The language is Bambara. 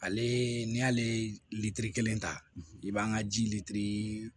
Ale n'i y'ale litiri kelen ta i b'an ka ji litiri